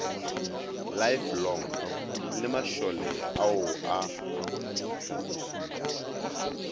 lifelong le mašole ao a